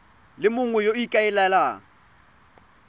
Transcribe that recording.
le mongwe yo o ikaelelang